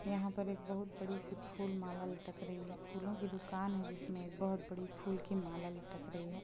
यहाँ पर एक बहुत बड़ी-सी फूल माला लटक रही है फूलो की दुकान है जिसमें बोहत बड़ी फूल की माला लटक रही है।